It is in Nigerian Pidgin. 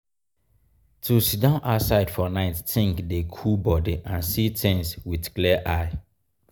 to sidon outside for nite think dey cool body and see things with clear eye.